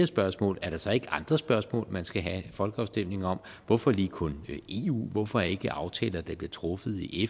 spørgsmål er der så ikke andre spørgsmål man skal have folkeafstemning om hvorfor lige kun eu hvorfor ikke aftaler der bliver truffet i